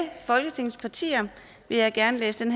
folketingets partier vil jeg gerne læse det